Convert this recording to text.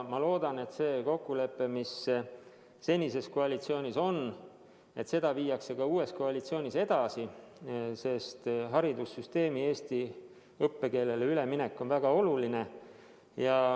Ma loodan, et seda kokkulepet, mis oli senises koalitsioonis, viiakse ka uues koalitsioonis edasi, sest haridussüsteemi üleminek eesti õppekeelele on väga oluline.